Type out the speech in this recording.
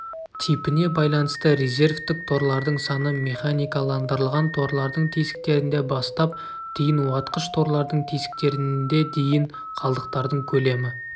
типіне байланысты резервтік торлардың саны механикаландырылған торлардың тесіктерінде бастап дейін уатқыш-торлардың тесіктерінде дейін қалдықтардың көлемі